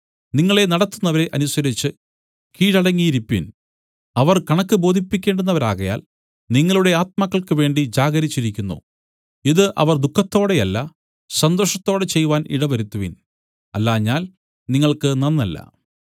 നിങ്ങളെ നടത്തുന്നവരെ അനുസരിച്ചു കീഴടങ്ങിയിരിപ്പിൻ അവർ കണക്ക് ബോധിപ്പിക്കേണ്ടുന്നവരാകയാൽ നിങ്ങളുടെ ആത്മാക്കൾക്ക് വേണ്ടി ജാഗരിച്ചിരിക്കുന്നു ഇതു അവർ ദുഃഖത്തോടെയല്ല സന്തോഷത്തോടെ ചെയ്‌വാൻ ഇടവരുത്തുവിൻ അല്ലാഞ്ഞാൽ നിങ്ങൾക്ക് നന്നല്ല